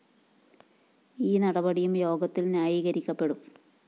ഈ നടപടിയും യോഗത്തില്‍ ന്യായീകരിക്കപ്പെടും